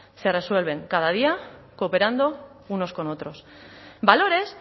se resuelven cada día cooperando unos con otros valores